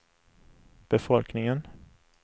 befolkningen